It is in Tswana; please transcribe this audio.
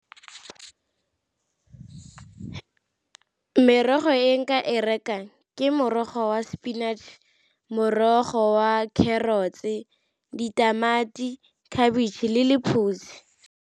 Merogo e nka e rekang ke morogo wa spinach, morogo wa carrots-e, ditamati, khabitšhe le lephutsi.